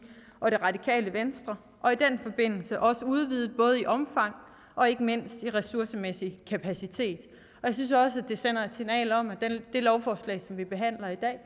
og det radikale venstre og i den forbindelse også udvidet både i omfang og ikke mindst i ressourcemæssig kapacitet jeg synes også det sender signal om at det lovforslag som vi behandler i dag